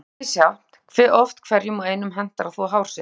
Mjög er það misjafnt hve oft hverjum og einum hentar að þvo hár sitt.